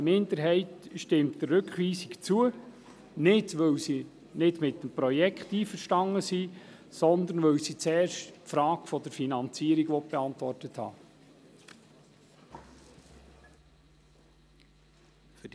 Eine Minderheit stimmt der Rückweisung zu – nicht, weil sie mit dem Projekt nicht einverstanden ist, sondern weil sie zuerst die Fragen zur Finanzierung beantwortet haben will.